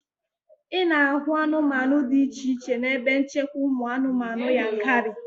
Ị na-ahụ anụmanụ dị iche iche n'ebe nchekwa ụmụ anụmanụ Yankari